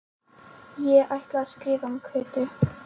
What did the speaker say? Ég ætla að skrifa um Kötu